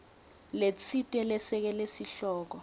letsite lesekela sihloko